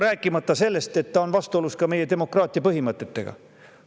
Rääkimata sellest, et see on vastuolus ka meie demokraatia põhimõtetega.